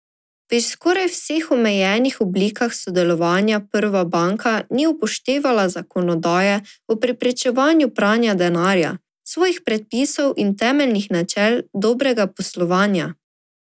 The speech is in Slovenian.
Pri skoraj vseh omenjenih oblikah sodelovanja Prva banka ni upoštevala zakonodaje o preprečevanju pranja denarja, svojih predpisov in temeljnih načel dobrega poslovanja.